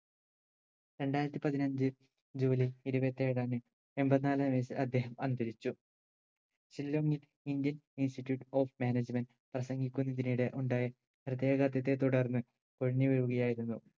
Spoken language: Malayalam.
രണ്ടായിരത്തി പതിനഞ്ചു ജൂലൈ ഇരുപത്തേഴിന് എമ്പതിനാലാം വയസിൽ അദ്ദേഹം അന്തരിച്ചു ഷില്ലോങ്ങിൽ indian institute of management പ്രസംഗിക്കുന്നതിനിടെ ഉണ്ടായ ഹൃദയാഗത്തെ തുടർന്ന് കുഴഞ്ഞു വീഴുകയായിരുന്നു